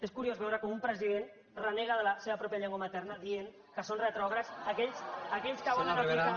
és curiós veure com un president renega de la seva pròpia llengua materna dient que són retrògrads aquells que volen evitar